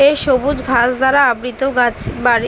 এ সবুজ ঘাস দ্বারা আবৃত গাছ বাড়ি ।